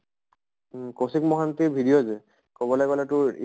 উম । Kaushik Mohanty video যে, কʼবলৈ গʼলে তোৰ